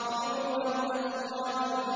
عُرُبًا أَتْرَابًا